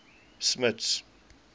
smuts